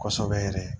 Kosɛbɛ yɛrɛ